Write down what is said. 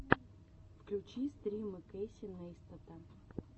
включи стримы кэйси нейстата